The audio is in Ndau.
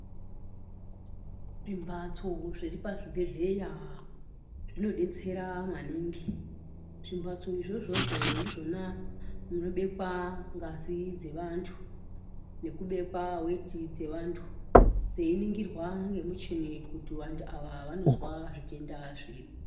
Zvimbatso zviri pazvibhehleya zvinodetsera maningi zvimbatso izvozvozvo ndizvona zvinobekwa ngazi dzevantu nekubekwa weti dzevantu dzeiningirwa nemichini kuti vantu ava vanozwa zvitenda zviri